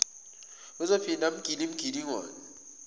uzophinda amugile imigilingwane